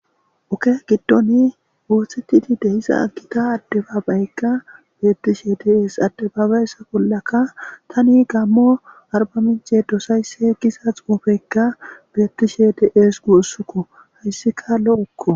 Oke giddoni oothettidi de7iza gita addebaabayekka beettishe dees. addebaabayeza bollaka tani gaammo arbbamincce dosaysse giza xuufeykka beettishe de7ees guussuko hayssika lo7okko.